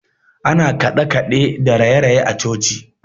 Ana kaɗekaɗe da rayeraye a coci.